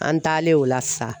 An taalen o la sisan